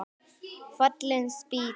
Fallin spýta